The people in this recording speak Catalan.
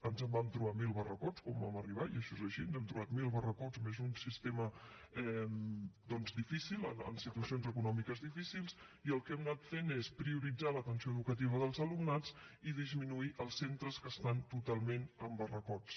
ens vam trobar amb mil barracots quan vam arribar i això és així ens hem trobat mil barracots més un sistema doncs difícil en situacions econòmiques difícils i el que hem anat fent és prioritzar l’atenció educativa dels alumnats i disminuir els centres que estan totalment en barracots